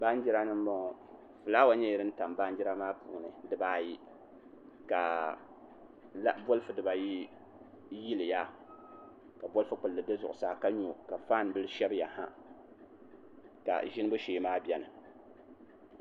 Baanjira ni n bɔŋɔ fulaawa nyɛla din tam baanjira maa puuni dibaayi ka bolfu dibayi yiliya ka bolfu kpulli bɛ zuɣusaa ka nyɔ ka faan bili shɛbiya ha ka ʒinibu shee maa biɛni